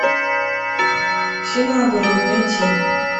все наоборот найти